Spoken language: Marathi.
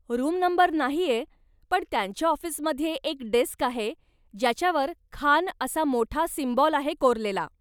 रुम नंबर नाहीये, पण त्यांच्या ऑफिसमध्ये एक डेस्क आहे ज्याच्यावर खान असा मोठा सिम्बॉल आहे कोरलेला.